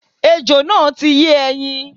Ejò náà ti yé ẹyin